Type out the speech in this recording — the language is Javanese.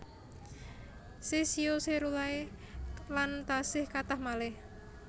Caesio caerularea lan tasih kathah malih